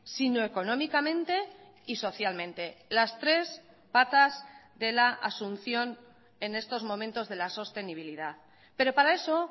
sino económicamente y socialmente las tres patas de la asunción en estos momentos de la sostenibilidad pero para eso